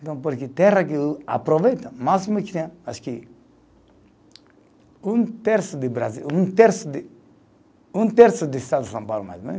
Então, porque terra que o aproveita, o máximo que tem, acho que, um terço de Brasil, um terço de, um terço de estado de São Paulo, mais ou menos.